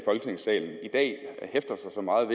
efter mange